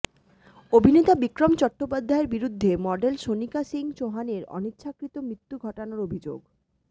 অভিনেতা বিক্রম চট্টোপাধ্যায়ের বিরুদ্ধে মডেল সোনিকা সিংহ চৌহানের অনিচ্ছাকৃত মৃত্যু ঘটানোর অভিযোগে